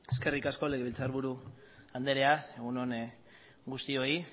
eskerrik asko legebiltzarburu andrea egun on guztioi